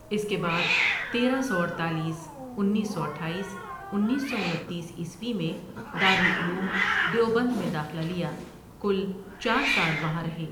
اس کے بعد تیرہ سو اڈتالیس انیس سو اٹھایس انیس سو انتیس عیسوی میں دار العلوم دیوبند میں داخلہ لیا کل چار سال وہاں رہے ۔